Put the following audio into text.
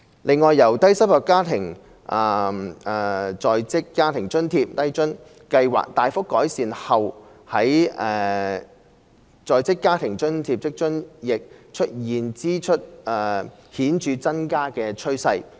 另外，由低收入在職家庭津貼計劃大幅改善而來的在職家庭津貼亦出現支出顯著增加的趨勢。